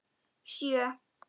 Sjö